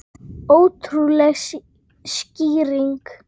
Ótrúleg skýring